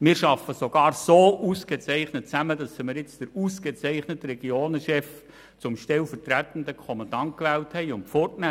Wir arbeiten sogar so ausgezeichnet mit ihr zusammen, dass wir nun den ausgezeichneten Regionenchef zum stellvertretenden Kommandanten gewählt haben und wegnehmen.